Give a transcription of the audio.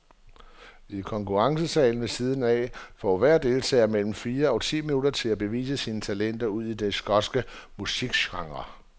I konkurrencesalen ved siden af får hver deltager mellem fire og ti minutter til at bevise sine talenter ud i den skotske musikgenre.